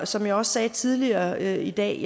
som jeg også sagde tidligere i dag